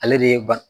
Ale de ye ban